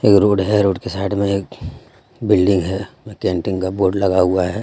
एक रोड हे रोड के साइड मे एक बिल्डिंग हे कैंटीन का बोर्ड लगा हुआ हे.